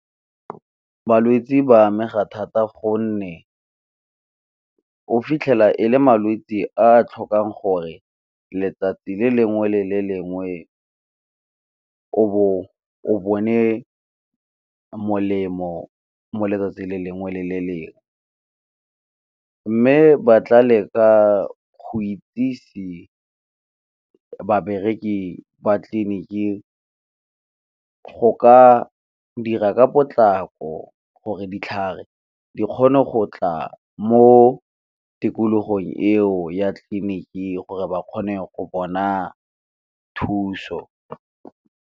Balwetsi ba amega thata gonne o fitlhela e le malwetsi a a tlhokang gore letsatsi le lengwe le le lengwe o Bo o bone molemo mo letsatsi le lengwe le le lengwe, mme ba tla leka go itsise babereki ba tleliniki go ka dira ka potlako gore ditlhare di kgone go tla mo tikologong eo ya tleliniki gore ba kgone go bona thuso.